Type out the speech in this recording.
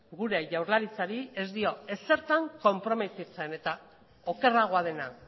gure jaurlaritzari ez dio ezertan konprometitzen eta okerragoa dena